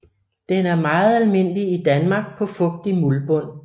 Den er meget almindelig i Danmark på fugtig muldbund